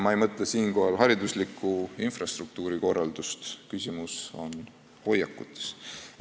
Ma ei mõtle siinkohal haridusliku infrastruktuuri korraldust, vaid küsimus on hoiakutes.